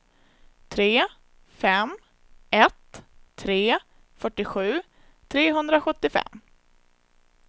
tre fem ett tre fyrtiosju trehundrasjuttiofem